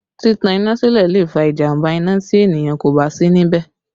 Títan iná sílẹ̀ lè fa ìjàmbá iná tí ènìyàn kò bá sí níbẹ̀